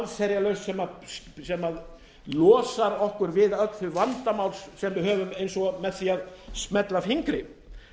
hún er engin allsherjarlausn sem losar okkur við öll þau vandamál sem við höfum eins og með því að smella fingri